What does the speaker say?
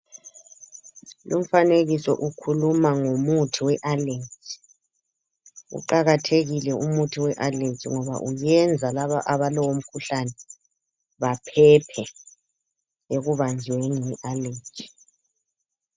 Lumfanekiso ukhuluma ngomuthi we aleji, uqakathekile umuthi we aleji ngoba uyenza laba abalalo mkhuhlane baphephe ekubanjweni yi aleji